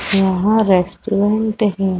यहाँ रेस्टोरेंट है।